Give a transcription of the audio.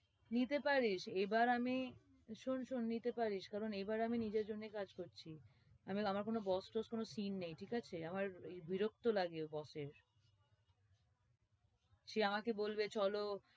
নিতে পারিস, এইবার আমি শোন শোন নিতে পারিস কারণ এইবার আমি নিজের জন্যে কাজ করছি আমার কোনো boss টস কোনো scene নেই ঠিক আছে? আমার এই বিরক্ত লাগে boss এর সে আমাকে বলবে চলো,